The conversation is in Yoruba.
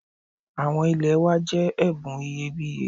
Àwọn ilẹ̀ wa jẹ́ ẹ̀bùn iyebíye